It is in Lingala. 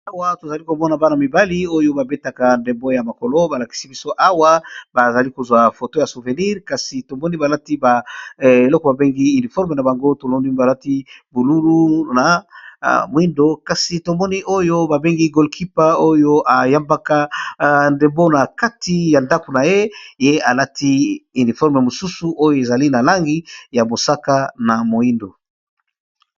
Awa tozali komona bana mibali oyo ba betaka ndembo ya mokolo balakisi biso awa ,bazali kozwa foto ya souvenire kasi tomoni balati eloko babengi uniforme na bango, tomoni balati bululu na moindo, kasi tomoni oyo ba bengi goal quimper oyo yambaka ndembo na kati ya ndako na ye ye alati uniforme mosusu ,oyo ezali na langi ya mosaka na moindo.